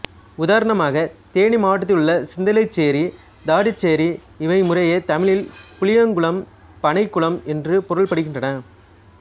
உதாரணமாக தேனி மாவட்டத்திலுள்ள சிந்தலச்சேரி தாடிச்சேரி இவை முறையே தமிழில் புளியங்குளம் பனைக்குளம் என்று பொருள்படுகின்றன